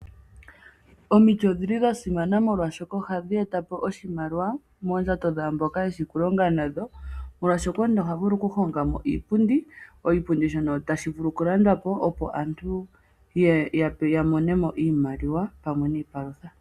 Omiti odhili dha simana molwaashoka ohadhi eta po oshimaliwa moondjato dhaamboka yeshi okulonga nadho, molwaashoka omuntu oha vulu okuhonga mo iipundi. Oshipundi shono tashi vulu okulandwa po opo aantu ya mone mo iimaliwa pamwe niipalutha.